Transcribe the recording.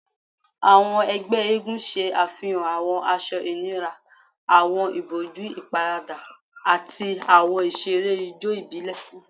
Awọn ẹgbẹ eégún ṣe afihan awọn aṣọ inira, awọn iboju iparada, ati awọn iṣere ijó ibile